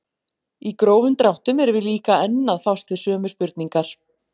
Í grófum dráttum erum við líka enn að fást við sömu spurningar.